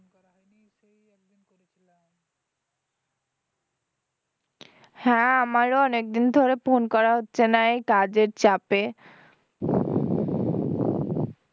হ্যাঁ আমারও অনেক দিন ধরে phone করা হচ্ছে না এই কাজের চাপে